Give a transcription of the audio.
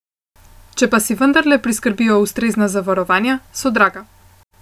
Če pa si vendarle priskrbijo ustrezna zavarovanja, so draga.